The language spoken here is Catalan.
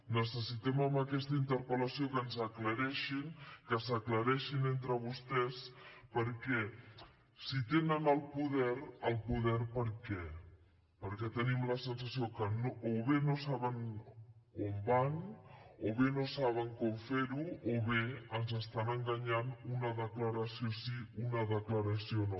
necessitem amb aquesta interpel·lació que ens ho aclareixin que s’aclareixin entre vostès perquè si tenen el poder el poder per què perquè tenim la sensació que o bé no saben on van o bé no saben com fer ho o bé ens estan enganyant una declaració sí una declaració no